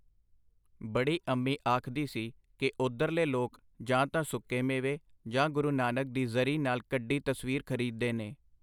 ਬੜੀ ਅੰਮੀ ਆਖਦੀ ਸੀ ਕਿ ਓਧਰਲੇ ਲੋਕ ਜਾਂ ਤਾਂ ਸੁੱਕੇ ਮੇਵੇ ਜਾਂ ਗੁਰੂ ਨਾਨਕ ਦੀ ਜ਼ਰੀ ਨਾਲ ਕੱਢੀ ਤਸਵੀਰ ਖਰੀਦਦੇ ਨੇ.